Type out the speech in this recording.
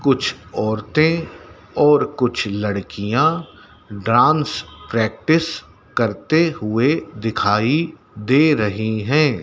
कुछ औरतें और कुछ लड़कियाँ डांस प्रैक्टिस करते हुए दिखाई दे रहीं हैं।